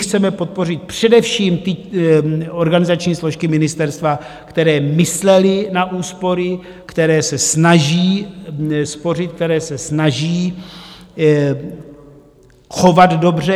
Chceme podpořit především ty organizační složky ministerstva, které myslely na úspory, které se snaží spořit, které se snaží chovat dobře.